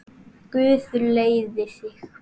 Guð leiði þig.